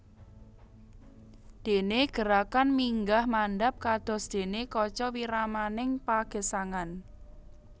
Dene gerakan minggah mandhap kados dene kaca wiramaning pagesangan